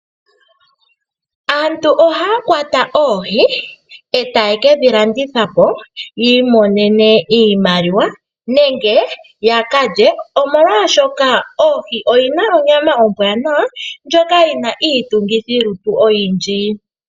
Aantu oha ya kwata oohi eta ye kedhi landithapo yiimonene iimaliwa nenge yaka lye omolwashoka ohi oyi na onyama ombwanawa ndjoka yi na iitungithilutu oyindji.